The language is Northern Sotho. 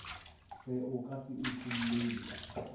fe o ka se utollelwe